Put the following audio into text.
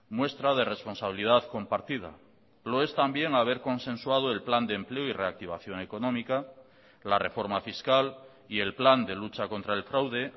muestra de responsabilidad compartida lo es también haber consensuado el plan de empleo y reactivación económica la reforma fiscal y el plan de lucha contra el fraude